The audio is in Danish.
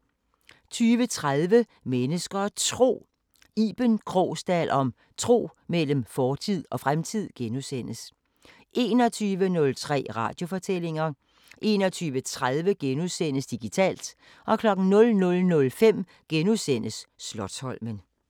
20:30: Mennesker og Tro: Iben Krogsdal om tro imellem fortid og fremtid * 21:03: Radiofortællinger * 21:30: Digitalt * 00:05: Slotsholmen *